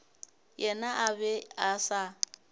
yena a be a sa